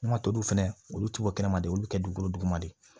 N'a toliw fɛnɛ olu ti bɔ kɛnɛma de olu bi kɛ dugukolo duguma de ye